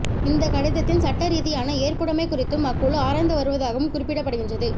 இந்த கடிதத்தின் சட்ட ரீதியான ஏற்புடைமை குறித்தும் அக்குழு ஆராய்ந்து வருவதாகவும் குறிப்பிடப்படுகின்றது